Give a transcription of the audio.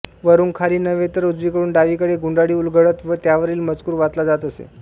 वरून खाली नव्हे तर उजवीकडून डावीकडे गुंडाळी उलगडत व त्यावरील मजकूर वाचला जात असे